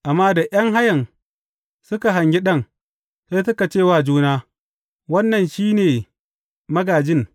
Amma da ’yan hayan suka hangi ɗan, sai suka ce wa juna, Wannan shi ne magājin.